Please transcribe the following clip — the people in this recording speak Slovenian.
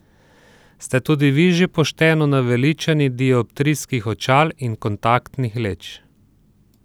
Ste tudi vi že pošteno naveličani dioptrijskih očal in kontaktnih leč?